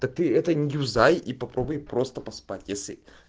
ты это не юзай и попробуй просто поспать если